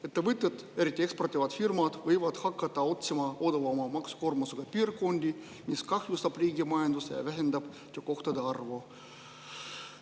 Ettevõtted, eriti eksportivad firmad, võivad hakata otsima maksukoormusega piirkondi, mis kahjustab riigi majandust ja vähendab töökohtade arvu.